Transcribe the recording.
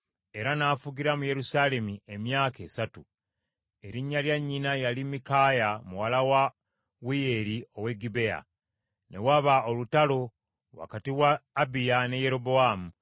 era n’afugira mu Yerusaalemi emyaka esatu. Erinnya lya nnyina yali Mikaaya muwala wa Uliyeri ow’e Gibea. Ne waba olutalo wakati wa Abiya ne Yerobowaamu.